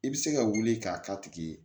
I bɛ se ka wuli k'a k'a tigi ye